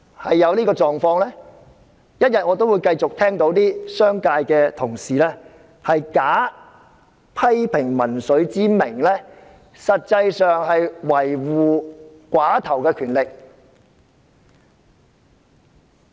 只要這種情況持續，我仍會繼續聽到商界同事假批評民粹之名，維護寡頭權力。